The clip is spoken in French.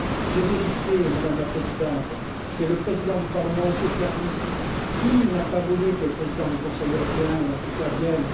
J'ai vérifié, Madame la Présidente, c'est le président du Parlement, ou ses services, qui n'a pas voulu que le président du Conseil européen vienne.